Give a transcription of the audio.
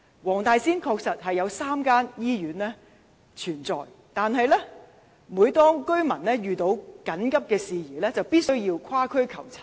黃大仙區確實設有3間醫院，但每當居民遇到緊急事宜，必須跨區求診。